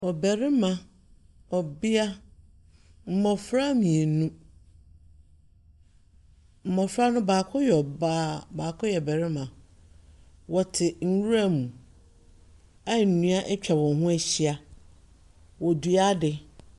Ɔbarima, ɔbea, mmofra mmienu. Mmofra no baako yɛ ɔbaa, baako yɛ barima. Wɔte nwira mu a nnua atwa wɔn ho ahyia. Wɔredua ade.